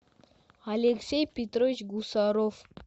алексей петрович гусаров